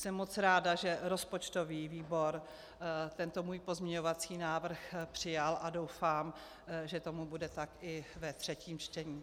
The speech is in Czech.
Jsem moc ráda, že rozpočtový výbor tento můj pozměňovací návrh přijal, a doufám, že tomu bude tak i ve třetím čtení.